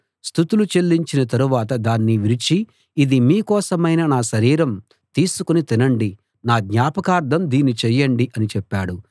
స్తుతులు చెల్లించిన తరువాత దాన్ని విరిచి ఇది మీ కోసమైన నా శరీరం తీసుకుని తినండి నా జ్ఞాపకార్థం దీన్ని చేయండి అని చెప్పాడు